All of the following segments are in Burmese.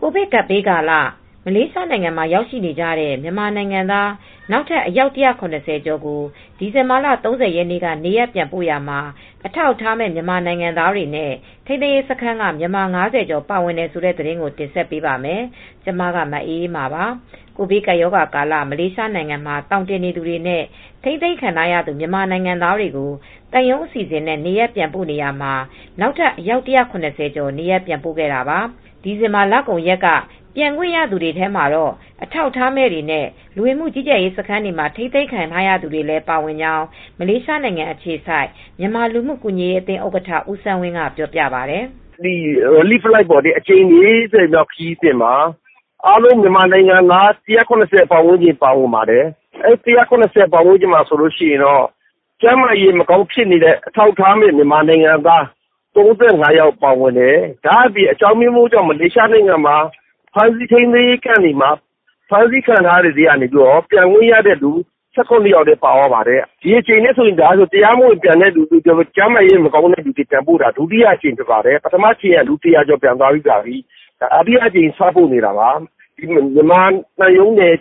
ကိုဗစ်ကပ်ဘေးကာလ မလေးရှားနိုင်ငံမှာ ရောက်နေကြတဲ့ မြန်မာနိုင်ငံသား နောက်ထပ် အယောက် ၁၇၀ ကျော်ကို ဒီဇင်ဘာလ ၃၀ ရက်နေ့က နေရပ်ပြန်ပို့ရာမှာ အထောက်အထားမဲ့ မြန်မာနိုင်ငံသားတွေနဲ့ ထိန်းသိမ်းရေးစခန်းက မြန်မာ ၅၀ ကျော် ပါဝင်ပါတယ်။ အပြည့်အစုံကို ထိုင်းအခြေစိုက် ဗွီအိုအေမြန်မာပိုင်း သတင်းထောက် မအေးအေးမာ တင်ပြပေးထားပါတယ်။ ကိုဗစ်ကပ်ရာဂါကာလ မလေးရှားနိုင်ငံမှာ သောင်တင်နေသူတွေနဲ့ ထိန်းသိမ်းခံထားရသူ မြန်မာနိုင်ငံသားတွေကို သံရုံးအစီအစဉ်နဲ့ နေရပ်ပြန်ပို့နေရာမှာ နောက်ထပ် အယောက် ၁၇၀ ကျော် နေရပ်ပြန်ပို့ခဲ့တာပါ။ ဒီဇင်ဘာလကုန်ရက်က ပြန်ခွင့်ရသူတွေထဲမှာတော့ အထောက်အထားမဲ့တွေနဲ့ လူဝင်မှုကြီးကြပ်ရေး စခန်းတွေမှာ ထိန်းသိမ်းခံခဲ့ရသူတွေလည်း ပါဝင်ခဲ့ကြောင်း မလေးရှားနိုင်ငံ အခြေစိုက် မြန်မာလူမှုကူညီရေးအသင်း ဥက္ကဋ္ဌ ဦးစန်းဝင်းက ပြောပါတယ်။ “ကယ်ဆယ်ရေးလေယာဉ် အကြိမ် ၄၀ မြောက်ခရီးစဉ်မှာ မြန်မာနိုင်ငံသား အားလုံးပေါင်း ၁၇၀ ဝန်းကျင် ပါဝင်ပါတယ်။ အဲဒီထဲမှာ ကျန်းမာရေးမကောင်းတဲ့ အထောက်အထားမဲ့ မြန်မာနိုင်ငံသား ၃၅ ယောက် ပါဝင်ပါတယ်။ အကြောင်းအမျိုးမျိုးနဲ့ ဖမ်းဆီးထိန်းသိမ်းခံထားရတဲ့ မြန်မာနိုင်ငံသား ၁၇ ယောက် ပါဝင်ပါတယ်။ ဒီတကြိမ်မှာ တရားမဝင် မြန်မာနိုင်ငံသားတွေကို ပြန်ပို့တာ ကျန်းမာရေးမကောင်းတဲ့သူတွေ ပြန်ပို့တာက ဒုတိယအကြိမ် ဖြစ်ပါတယ်။ ပထမတကြိမ်တုန်းက လူ ၁၀၀ ကျော် ပြန်သွားပြီးပါပြီ။ ဒုတိယအကြိမ် စပို့နေတာပါ။ မြန်မာသံရုံးနဲ့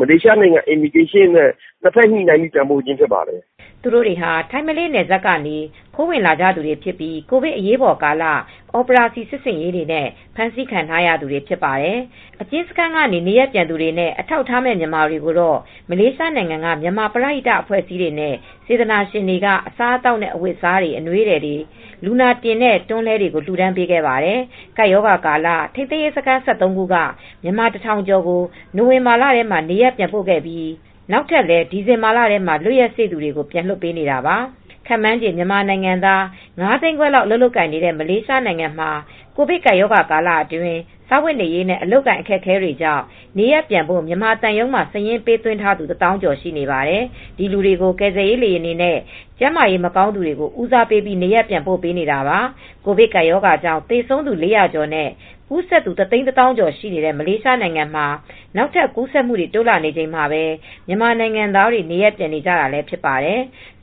မလေးရှား လူဝင်မှုကြီးကြပ်ရေး (လဝက) တို့ နှစ်ဖက်ညှိနှိုင်းပြီး ပြန်ပို့ပေးနေတာ ဖြစ်ပါတယ်။” သူတို့တွေဟာ ထိုင်း-မလေးနယ်စပ်ကနေ ခိုးဝင်ကြသူတွေဖြစ်ပြီး ကိုဗစ်အရေးပေါ်ကာလ အော်ပရာစီ စစ်ဆင်ရေးတွေနဲ့ ဖမ်းဆီးခံရသူတွေ ဖြစ်ကြပါတယ်။ အကျဉ်းစခန်းကနေ နေရပ်ပြန်သူတွေနဲ့ အထောက်အထားမဲ့ မြန်မာတွေကိုတော့ မလေးရှားနိုင်ငံက မြန်မာပရဟိတ အဖွဲ့အစည်းတွေနဲ့ စေတနာရှင်တွေက အစားအသောက်နဲ့ အဝတ်အစားတွေ၊ အနွေးထည်တွေနဲ့ လူနာတင်တဲ့ တွန်းလှည်းတွေကို လှူဒါန်းပေးခဲ့ပါတယ်။ ကပ်ရောဂါကာလမှာ ထိန်းသိမ်းရေးစခန်း ၁၃ ခုက မြန်မာ ၁,၀၀၀ ကျော်ကို နိုဝင်ဘာလထဲမှာ နေရပ်ပြန်ပို့ခဲ့ပြီး အခုနောက်ထပ်လည်း ဒီဇင်ဘာလထဲမှာ လွတ်ရက်စေ့သူတွေကို ပြန်လွှတ်ပေးနေတာပါ။ ခန့်မှန်းခြေ မြန်မာနိုင်ငံသား ၅ သိန်းခွဲလောက် အလုပ်လုပ်ကိုင်နေတဲ့ မလေးရှားမှာ ကိုဗစ်ကပ်ရောဂါကာလအတွင်း စားဝတ်နေရေးနဲ့ အလုပ်အကိုင် အခက်အခဲတွေကြောင့် နေရပ်ပြန်ဖို့ မြန်မာသံရုံးမှာ စာရင်းပေးသွင်းထားသူ ၁၀,၀၀၀ ကျော် ရှိနေပါတယ်။ ဒီလူတွေကို ကယ်ဆယ်ရေးလေယာဉ်တွေနဲ့ ကျန်းမာရေးမကောင်းသူတွေကို ဦးစားပေးပြီး နေရပ်ပြန်ပို့နေတာပါ။ ကိုဗစ်ကပ်ရောဂါကြောင့် သေဆုံးသူ ၄၀၀ ကျော်နဲ့ ကူးစက်သူ ၁၁၀,၀၀၀ ကျော်ရှိနေတဲ့ မလေးရှားနိုင်ငံမှာ နောက်ထပ် ကူးစက်မှုတွေ တိုးလာနေချိန်မှာပဲ မြန်မာနိုင်ငံသားတွေ နေရပ်ပြန်နေကြတာလည်း ဖြစ်ပါတယ်။